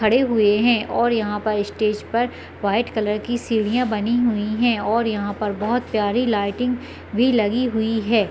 खड़े हुए है और यहाँ स्टेज पर वाइट कलर की सीढ़िया बनी हुई है और यहाँ पर और बहोत प्यारी लाइटिंग भी लगी हुई है।